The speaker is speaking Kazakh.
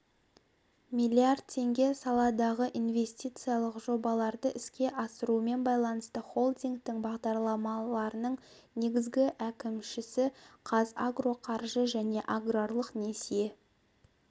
миллиардтеңге саладағы инвестициялық жобаларды іске асырумен байланысты холдингтің бағдарламаларының негізгі әкімшісіқазагроқаржы және аграрлық несие